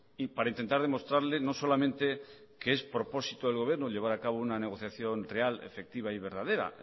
y para intentar demostrarle no solamente que es propósito del gobierno llevar a cabo una negociación real efectiva y verdadera